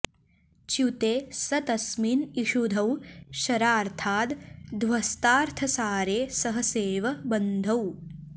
च्युते स तस्मिन्न् इषुधौ शरार्थाद् ध्वस्तार्थसारे सहसेव बन्धौ